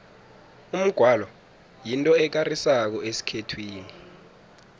umgwalo yinto ekarisako esikhethwini